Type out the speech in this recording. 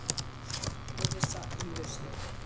Áfram óvissa um lausnir